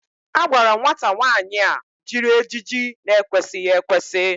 A gwara nwata nwaanyị a jiri ejiji n'ekwesịghị ekwesị